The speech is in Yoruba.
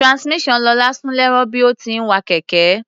Transmission Lọlá sún lẹ́rọ̀ bí ó ti ń wa kẹ̀kẹ́.